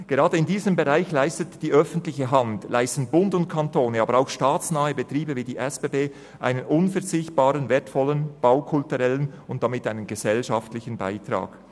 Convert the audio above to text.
Gerade in diesem Bereich leisten die öffentliche Hand, also Bund und Kantone, aber auch staatsnahe Betriebe wie die SBB einen unverzichtbaren, wertvollen baukulturellen und damit einen gesellschaftlichen Beitrag.